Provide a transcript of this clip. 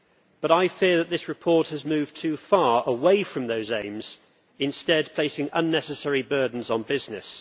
But I feel that this report has moved too far away from those aims, instead placing unnecessary burdens on business.